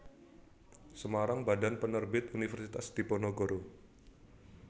Semarang Badan Penerbit Universitas Diponegoro